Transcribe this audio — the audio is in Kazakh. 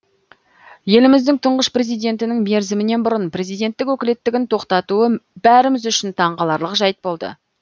еліміздің тұңғыш президентінің мерзімінен бұрын президенттік өкілеттігін тоқтатуы бәріміз үшін таңқаларлық жайт болды